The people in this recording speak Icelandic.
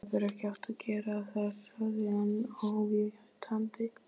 Þú hefðir ekki átt að gera það sagði hann ávítandi.